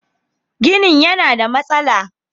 Ginin yana da matsala.